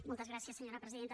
moltes gràcies senyora presidenta